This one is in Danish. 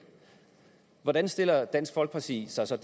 hvordan stiller dansk folkeparti sig så